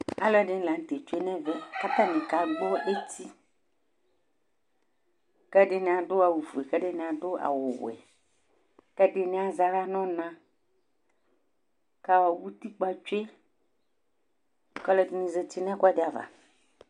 aluɛdɩnɩ lanutɛ dʊ ɛmɛ kʊ akagbɔ eti, ɛdɩnɩ adʊ awu fue kʊ ɛdɩnɩ adʊ awu wɛ, kʊ ɛdɩnɩ azɛ aɣla nʊ ɔna, kʊ utikpǝ tsue, kʊ alʊɛdɩnɩ zati nʊ ɛkʊdɩ ava